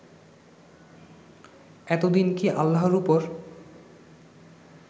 এতদিন কি আল্লাহর উপর